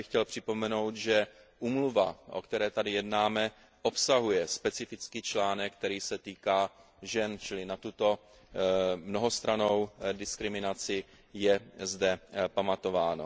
A tady bych chtěl připomenout, že úmluva, o které tady jednáme, obsahuje specifický článek, který se týká žen, čili na tuto mnohostrannou diskriminaci je zde pamatováno.